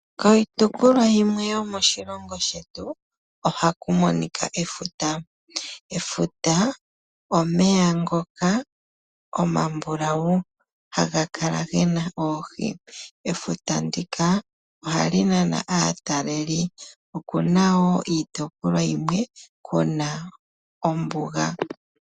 Kiitopolwa yimwe yomoshilongo shetu ohaku monika efuta. Efuta omeya ngoka omabulau haga kala ge na oohi. Efuta ndika ohali nana aatalelipo, oku na wo iitopolwa yimwe ku na ombuga.